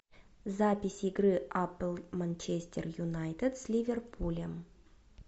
запись игры апл манчестер юнайтед с ливерпулем